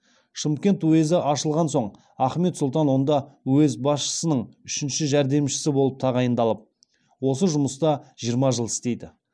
шымкент уезі ашылған соң ахмет сұлтан онда уезд басшысының үшінші жәрдемшісі болып тағайындалып осы жұмыста жиырма жыл істейді